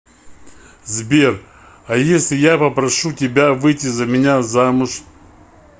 сбер а если я попрошу тебя выйти за меня замуж